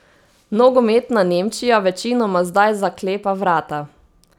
Nogometna Nemčija večinoma zdaj zaklepa vrata.